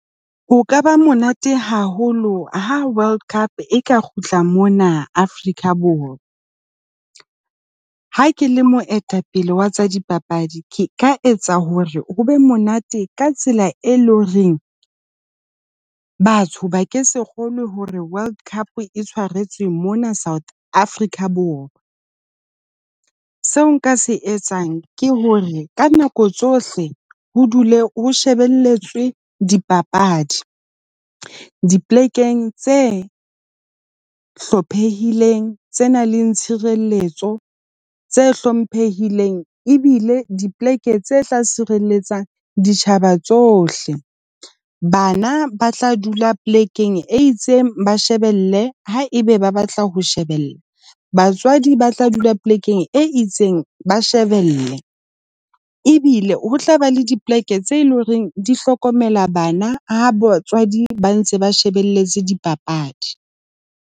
O ka ba monate haholo ha World Cup e ka kgutla mona Afrika Borwa. Ha ke le moetapele wa tsa dipapadi, ke ka etsa hore ho be monate ka tsela e leng reng batho ba ke se kgolwe hore World Cup e tshwaretswe mona South Africa Boroa. Seo nka se etsang ke hore ka nako tsohle ho dule o shebelletswe dipapadi, dipolekeng tse hlophehileng, tse nang le tshireletso, tse hlomphehileng ebile dipoleke tse tla sireletsang ditjhaba tsohle. Bana ba tla dula polekeng e itseng, ba shebelle ha ebe ba batla ho shebella. Batswadi ba tla dula polekeng e itseng, ba shebelle. Ebile ho tlaba le dipoleke tse leng horeng di hlokomela bana ha batswadi ba ntse ba shebelletse dipapadi.